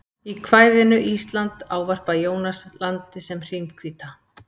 í kvæðinu ísland ávarpar jónas landið sem hrímhvíta